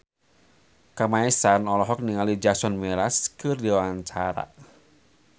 Kamasean olohok ningali Jason Mraz keur diwawancara